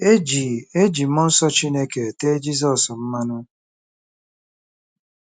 E ji E ji mmụọ nsọ Chineke tee Jizọs mmanụ.